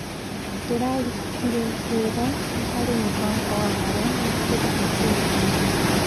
Ndĩrarutire wĩra harĩ mũbango wa marĩa matũrigicĩirie.